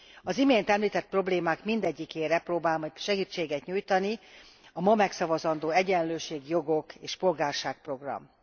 Az imént említett problémák mindegyikére próbál majd segítséget nyújtani a ma megszavazandó Egyenlőség, jogok és polgárság program.